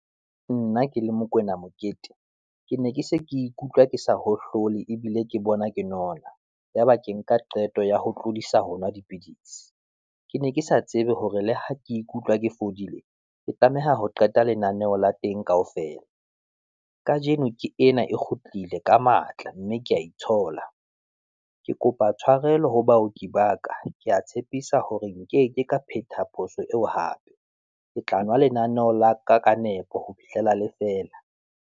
Nna ke le Mokoena Mokete, ke ne ke se ke ikutlwa ke sa hohlole, ebile ke bona ke nona, yaba ke nka qeto ya ho tlodisa ho nwa dipidisi. Ke ne ke sa tsebe hore le ha ke ikutlwa ke fodile, ke tlameha ho qeta lenaneo la teng kaofela. Kajeno ke ena e kgutlile ka matla mme ke ya itshola. Ke kopa tshwarelo ho baoki ba ka, ke ya tshepisa hore nkeke ka phetha phoso eo hape, ke tla nwa lenaneo la ka ka nepo ho fihlela le fela.